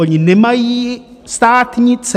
Oni nemají státnice!